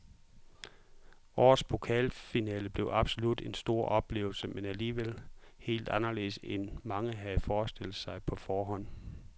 Årets pokalfinale blev absolut en stor oplevelse, men alligevel helt anderledes end mange havde forestillet sig på forhånd.